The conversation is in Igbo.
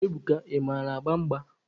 Ebuka, ị mara agba mgba?